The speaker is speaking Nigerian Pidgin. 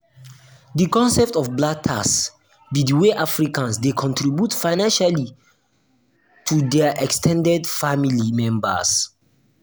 di concept of "black tax" be di way africans dey contribute financially to financially to dia ex ten ded family members.